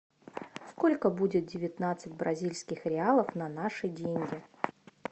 сколько будет девятнадцать бразильских реалов на наши деньги